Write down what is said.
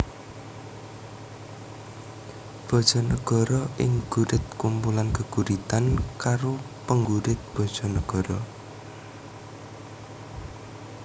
Bojonegoro Ing Gurit kumpulan geguritan karo penggurit Bojonegoro